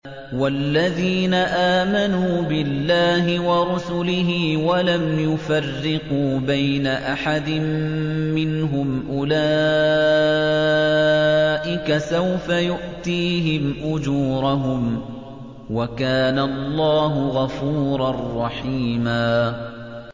وَالَّذِينَ آمَنُوا بِاللَّهِ وَرُسُلِهِ وَلَمْ يُفَرِّقُوا بَيْنَ أَحَدٍ مِّنْهُمْ أُولَٰئِكَ سَوْفَ يُؤْتِيهِمْ أُجُورَهُمْ ۗ وَكَانَ اللَّهُ غَفُورًا رَّحِيمًا